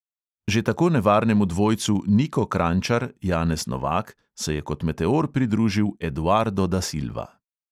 Že tako nevarnemu dvojcu niko kranjčar – janez novak se je kot meteor pridružil eduardo da silva.